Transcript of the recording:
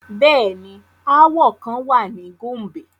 Bẹẹni, aawọ kan wa ni Gombe